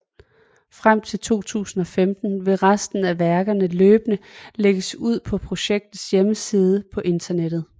Frem til 2015 vil resten af værkerne løbende lægges ud på projektets hjemmeside på internettet